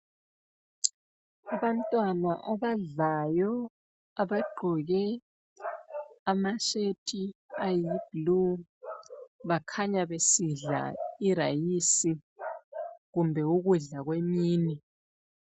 Abantwana abadlayo abagqoke ama shirt ayi blue. Bakhanya besidla irayisi kumbe ukudla kwemini.